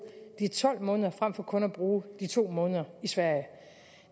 de tolv måneder frem for kun at bruge de to måneder i sverige